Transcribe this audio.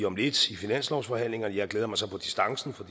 om lidt i finanslovsforhandlingerne jeg glæder mig så på distance for